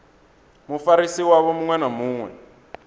mufarisi wavho muṅwe na muṅwe